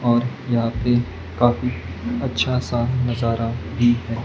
और यहां पे काफी अच्छा सा नजारा भी है।